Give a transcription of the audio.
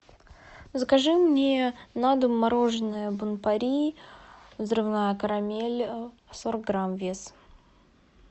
закажи мне на дом мороженое бон пари взрывная карамель сорок грамм вес